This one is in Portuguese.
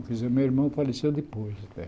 Quer dizer, meu irmão faleceu depois